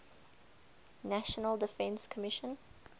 national defense commission